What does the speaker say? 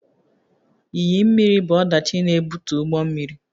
Iyi mmiri bụ ọdachi na-ebute ụgbọ mmiri